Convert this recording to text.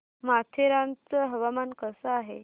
माथेरान चं हवामान कसं आहे